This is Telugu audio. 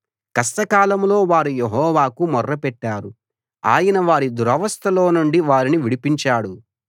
కష్టకాలంలో వారు యెహోవాకు మొర్రపెట్టారు ఆయన వారి దురవస్థలోనుండి వారిని విడిపించాడు